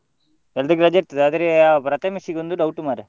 ಎಲ್ಲ್ರಿಗೆ ರಜೆ ಇರ್ತದೆ, ಆದ್ರೆ ಆ ಪ್ರಥಮೆಶ್ ಗೆ ಒಂದು doubt ಮಾರ್ರೆ.